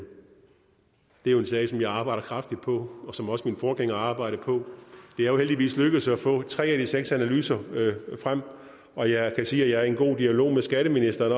er en sag som jeg arbejder kraftigt på og som også min forgænger arbejdede på det er jo heldigvis lykkedes at få tre af de seks analyser frem og jeg kan sige at jeg er i en god dialog med skatteministeren